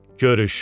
Görüş.